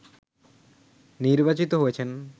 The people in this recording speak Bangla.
নির্বাচিত হয়েছেন